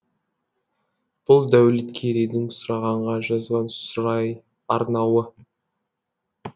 бұл дәулеткерейдің сұрағанға жазған сұрай арнауы